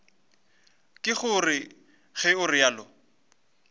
ke gore ge o realo